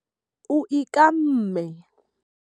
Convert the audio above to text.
O ikamme.